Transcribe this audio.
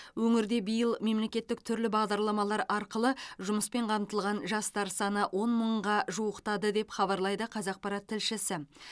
өңірде биыл мемлекеттік түрлі бағдарламалар арқылы жұмыспен қамтылған жастар саны он мыңға жуықтады деп хабарлайды қазақпарат тілшісі